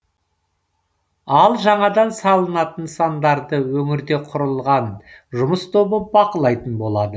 ал жаңадан салынатын нысандарды өңірде құрылған жұмыс тобы бақылайтын болады